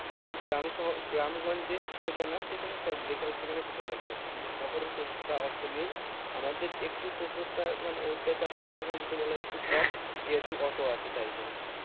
কিন্তু গ্রাম স গ্রাম গঞ্জে সেটা না সেখানে সব যেখানে সেখানে ঢুকে যাবে কিন্তু শহরে টোটো নেই আমাদের একটু টোটোটা মানে অত্যাচারের কথা যদি বলা যায় একটু কম যেহুতু অটো আছে তাই জন্য